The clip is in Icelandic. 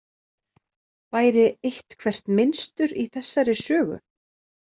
Væri eitthvert mynstur í þessari sögu?